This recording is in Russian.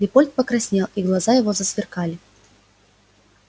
лепольд покраснел и глаза его засверкали